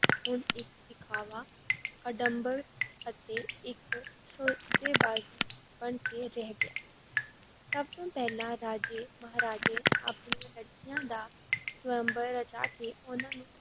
ਹੁਣ ਇੱਕ ਦਿਖਾਵਾ, ਅਡੰਬਰ ਅਤੇ ਇੱਕ ਸੌਦੇਬਾਜ਼ੀ ਬਣ ਕੇ ਰਹਿ ਗਿਆ ਹੈ ਸਭ ਤੋਂ ਪਹਿਲਾਂ ਰਾਜੇ, ਮਹਾਰਾਜੇ ਆਪਣੀਆਂ ਲੜਕੀਆਂ ਦਾ ਸੁਅੰਬਰ ਰਚਾ ਕੇ ਉਹਨਾਂ ਨੂੰ